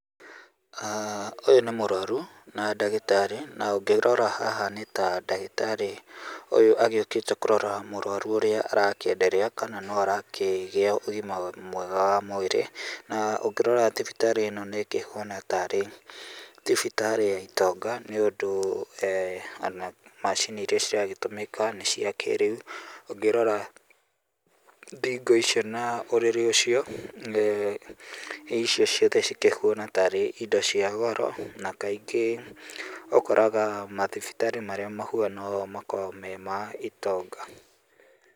ũyũ nĩ mũrwaru na ndagĩtarĩ na ũngĩrora haha nĩ ta ndagĩtarĩ okĩte kũrora mũrwaru ũrĩa arakĩ endelea kana no arakĩgĩa ũgima mwega wa mwĩrĩ. Na ũngĩrora thibitarĩ ĩno nĩ kĩhuana tarĩ thibitarĩ ya itonga nĩ ũndũ [ona macini iria ciragĩtũmĩka nĩ cia kĩrĩu, ũngĩrora thingo icio na ũrĩrĩ ũcio rĩu icio ciothe cikĩhuana tarĩ indo cia goro na kaingĩ ũkoraga mathibitarĩ marĩa mahuana ũũ makoragwo marĩ ma itonga